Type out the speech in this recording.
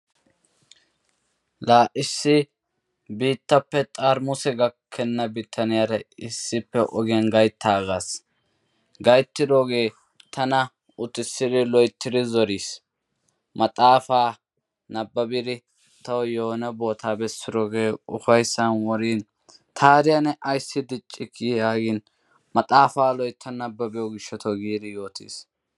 La! issi biittappe xarmusse gakkena bitaaniyaara issippe ogiyaan gayttaagas gayttidooge tana ogiyaa uttisidi loytti zoriis, maxaafa nababbide tawu yoone boota besidooge ufayssan woriin taada ne ayssi diccikki yaagin maxaafa loytta nababbiyo gishshaw yaagidi zoriis.